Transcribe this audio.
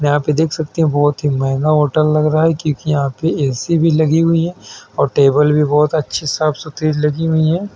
यहाँ पे देख सकते हैं बहुत महंगा होटल लग रहा हैं क्युकी यहाँं पे ऐ.सी भी लगी हुई है और टेबल भी बहुत अच्छी साफ सुथरी लगी हुई हैं।